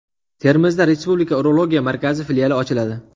Termizda Respublika urologiya markazi filiali ochiladi.